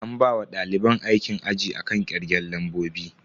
An bawa daliban aikin aji akan kirgen lambobi.